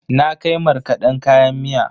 Na kai markaden kayan miya.